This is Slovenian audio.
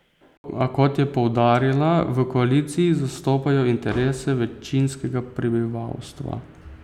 A, kot je poudarila, v koaliciji zastopajo interese večinskega prebivalstva.